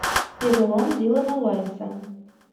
перелом дилана вайса